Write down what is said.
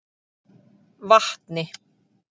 Vatni